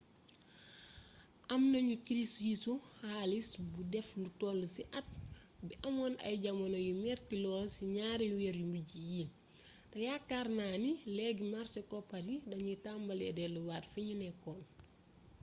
am nañu kirisu xaalis bu def lu toll ci at bi amoon ay jamono yu metti lool ci ñaari weer yu mujj yi te yaakaar naa ni léegi màrse koppar yi dañuy tambalee delluwaat fiñu nekkoon